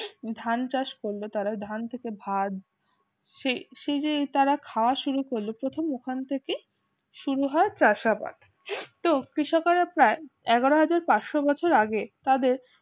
ধান চাষ করল তারা ধান থেকে ভাত সেই যে তারা খাওয়া শুরু করল প্রথম ওখান থেকে শুরু হয় চাষাবাদ এগারো হাজার প্যাশ্চ বছর আগে তাদের